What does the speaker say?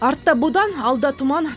артта бодан алда тұман